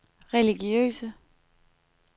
religiøse